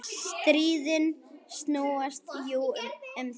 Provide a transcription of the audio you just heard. Stríðin snúast jú um það.